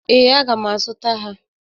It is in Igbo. Ee, aga m a zụta ha.